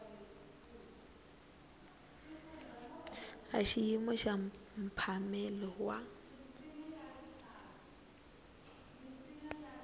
a xiyimo xa mphamelo wa